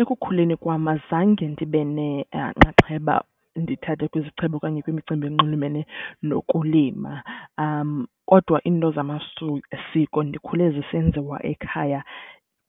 Ekukhuleni kwam azange ndibe nenxaxheba ndithathe kwizixhobo okanye kwimicimbi enxulumene nokulima. Kodwa iinto zamasiko ndikhule zisenziwa ekhaya